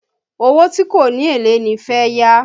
Owó tí kò ní èlé ni fẹ́ yá